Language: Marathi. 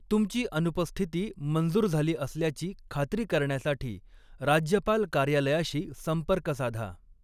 तुमची अनुपस्थिती मंजूर झाली असल्याची खात्री करण्यासाठी राज्यपाल कार्यालयाशी संपर्क साधा.